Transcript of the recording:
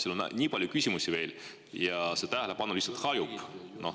Siin on nii palju küsimusi veel, aga vastaja tähelepanu lihtsalt hajub.